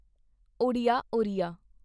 Odia Oriya